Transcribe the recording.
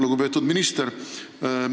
Lugupeetud minister!